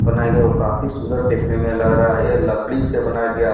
बनया गया। ओ काफी सुन्दर देखने में लग रहा है। ये लकड़ी से बनया गया।